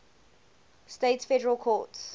states federal courts